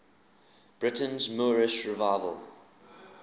britain's moorish revival